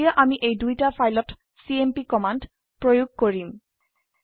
এতিয়া আমি এই দুইটা ফাইলত চিএমপি কমান্ড প্ৰয়োগ কৰিম